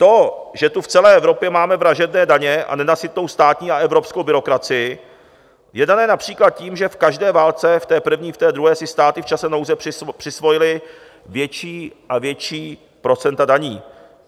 To, že tu v celé Evropě máme vražedné daně a nenasytnou státní a evropskou byrokracii, je dané například tím, že v každé válce, v té první, v té druhé, si státy v čase nouze přisvojily větší a větší procenta daní.